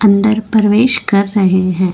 अंदर परवेश कर रहे हैं।